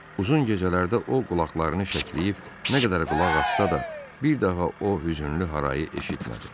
Uzun gecələrdə o qulaqlarını şəkilləyib, nə qədər qulaq assa da, bir daha o hüznlü harayı eşitmədi.